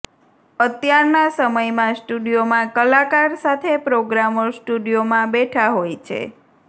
અત્યારના સમયમાં સ્ટુડિયોમાં કલાકાર સાથે પ્રોગ્રામર સ્ટુડિયોમાં બેઠા હોય છે